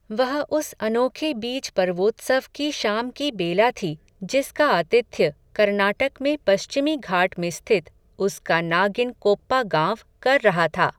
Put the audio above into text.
वह उस अनोखे बीज पर्वोत्सव की शाम की बेला थी, जिसका आतिथ्य, कर्नाटक में पश्चिमी घाट में स्थित, उसका नागिन कोप्पा गाँव कर रहा था